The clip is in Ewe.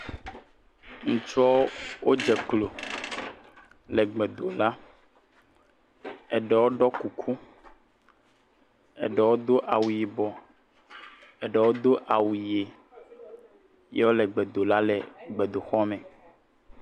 Ŋutsuwo dze klo le gbe dom ɖa. Eɖewo ɖɔ kuku, aɖewo do awu yibɔ, eɖewo Do awu ɣi. Wòle gbedom ɖa le gbedoxɔ me.